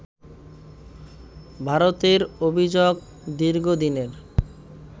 ভারতের অভিযোগ দীর্ঘদিনের